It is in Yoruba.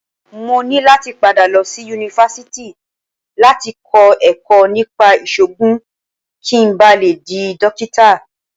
Mo ní láti padà lọ sí Yunifásítì láti kọ́ ẹ̀kọ́ nípa ìṣògùn kí n ba le dí Dókítà.